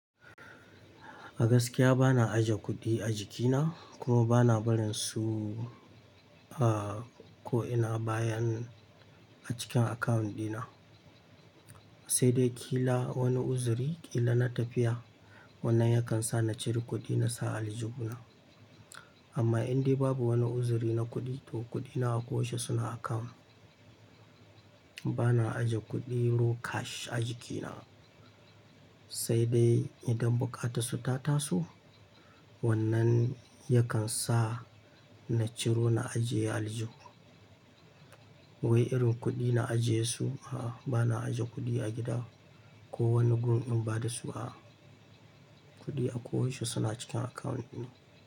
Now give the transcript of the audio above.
A gaskiya bana aje kuɗi a jikina, kuma bana barin su a ko ina bayan a cikin akawun ɗina. Sai dai kila wani uzuri, kila na tafiya wannan yakan sa na ciro kuɗi na sa a aljihuna. Amma indai babu wani uzuri na kuɗi to kuɗina a ƙoshi suna akawun. Bana aje kuɗi ru cash a jikina. Sai dai idan buƙata su ta taso wannan yakan sa na ciro na ajiye a aljihuna. Wai irin kuɗi na ajiye su a bana aje kuɗi a gida ko wani gun ɗin ba da su a kuɗi a ko yaushe suna cikin akawun ɗina.